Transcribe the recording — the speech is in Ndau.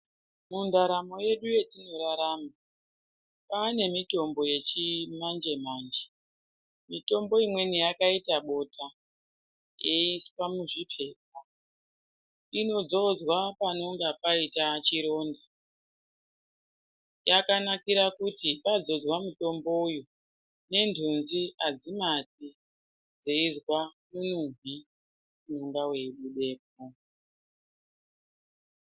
Mundaramo yedu yetinorarama kwane mitombo yechimanje-manje mitombo imweni yakaita bota yeiiswe muzviphepha inodzodzwa panonga paita chironda yakanakira kuti panonga padzodzwa mutombo uyu nenhunzi adzimati dzeizwa munuhwi unonga weibudepo.